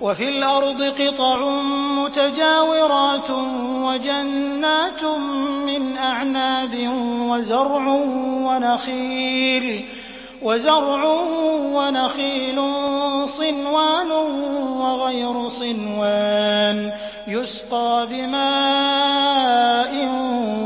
وَفِي الْأَرْضِ قِطَعٌ مُّتَجَاوِرَاتٌ وَجَنَّاتٌ مِّنْ أَعْنَابٍ وَزَرْعٌ وَنَخِيلٌ صِنْوَانٌ وَغَيْرُ صِنْوَانٍ يُسْقَىٰ بِمَاءٍ